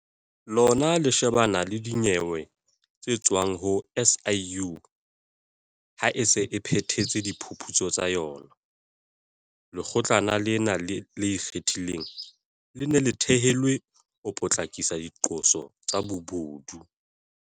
Lona le shebana le dinyewe tse tswang ho SIU ha e se e phethetse diphuputso tsa yona. Lekgotlana lena le Ikgethileng, le ne le thehelwe ho potlakisa diqoso tsa bobodu.